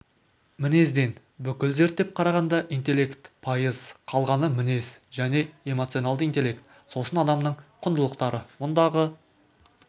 мінезден бүкіл зерттеп қарағанда интеллект пайыз қалғаны мінез және эмоционалды интеллект сосын адамның құндылықтары мұндағы